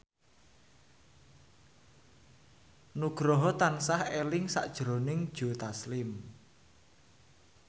Nugroho tansah eling sakjroning Joe Taslim